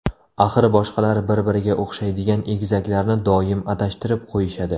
Axir boshqalar bir-biriga o‘xshaydigan egizaklarni doim adashtirib qo‘yishadi.